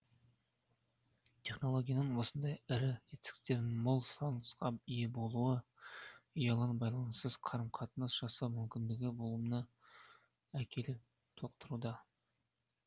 технологияның осындай ірі жетістіктерінің мол сұранысқа ие болуы ұялы байланыссыз қарым қатынас жасау мүмкіндігінің болмауына әкеліп соқтыруда